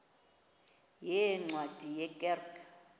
yeencwadi ye kerk